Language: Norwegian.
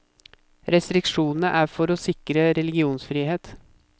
Restriksjonene er for å sikre religionsfrihet.